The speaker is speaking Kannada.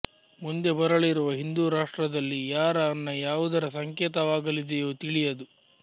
ಮುಂದೆ ಬರಲಿರುವ ಹಿಂದೂರಾಷ್ಟ್ರದಲ್ಲಿ ಯಾರ ಅನ್ನ ಯಾವುದರ ಸಂಕೇತವಾಗಲಿದೆಯೋ ತಿಳಿಯದು